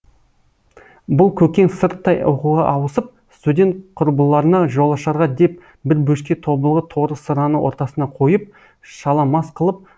бұл көкең сырттай оқуға ауысып студент құрбыларына жолашарға деп бір бөшке тобылғы торы сыраны ортасына қойып шала мас қылып